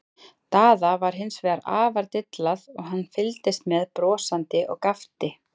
Daða var hins vegar afar dillað og hann fylgdist með brosandi og gapti.